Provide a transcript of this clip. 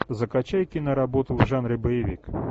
закачай киноработу в жанре боевик